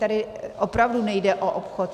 Tady opravdu nejde o obchod.